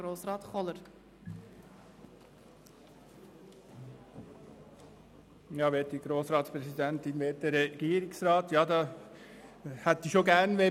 Ja, ich würde es schon begrüssen, wenn wir ein bisschen darüber sprechen würden.